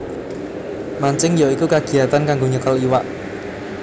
Mancing ya iku kagiyatan kanggo nyekel iwak